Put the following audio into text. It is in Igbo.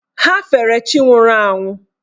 Ha fere chi nwụrụ anwụ.